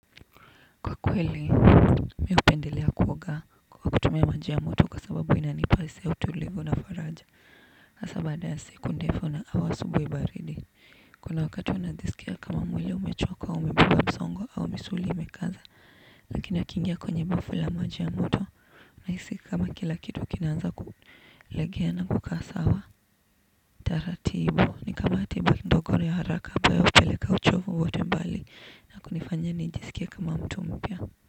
Kwa kweli mi hupendelea kuoga kwa kutumia maji ya moto kwa sababu inanipa hisia ya tulivu na faraja hasa baada ya siku ndefu na au asubuhi baridi kuna wakati unajisikia kama mwili umechoka umebuwa msongo au misuli imekaza lakini akiingia kwenye bafu la maji ya moto nahisi kama kila kitu kinaanza kulegea na kukaa sawa taratiibu ni kama tiba kidogo ya haraka ambayo hupeleka uchovu wote mbali na kunifanya nijisikie kama mtu mpya.